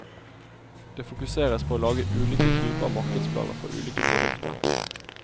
Det fokuseres på å lage ulike typer markedsplaner for ulike produkter.